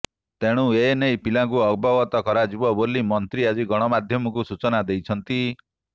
ତେଣୁ ଏନେଇ ପିଲାଙ୍କୁ ଅବଗତ କରାଯିବ ବୋଲି ମନ୍ତ୍ରୀ ଆଜି ଗଣମାଧ୍ୟମକୁ ସୂଚନା ଦେଇଛନ୍ତି